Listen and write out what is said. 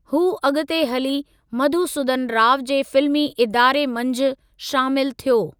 हू अॻु ते हली मधुसूदन राव जे फिल्मी इदारे मंझि शामिलु थियो।